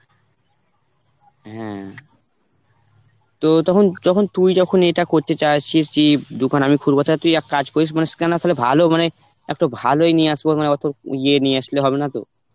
হ্যাঁ, তো তখন যখন তুই যখন এইটা করতে চাস দোকান আমি খুলবো তুই এক কাজ করিস মানে scanner তালে ভালো মানে একটু ভালোই নিয়ে আসবো মানে অতো ইয়ে নিয়ে আসলে হবে নাতো.